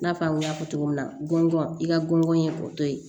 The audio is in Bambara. I n'a fɔ an y'a fɔ cogo min na gɔngɔn i ka gɔngɔn ye o to ye